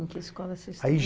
Em que escola você estudou?